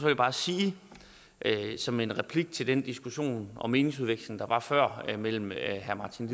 jeg bare sige som en replik til den diskussion og meningsudveksling der var før mellem herre martin